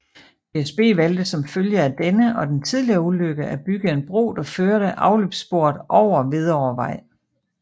DSB valgte som følge af denne og den tidligere ulykke at bygge en bro der førte afløbssporet over Hvidovrevej